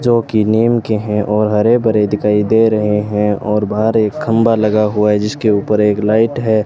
जो की नीम के हैं और हरे भरे दिखाई दे रहे हैं और बाहर एक खंभा लगा हुआ है जिसके ऊपर एक लाइट है।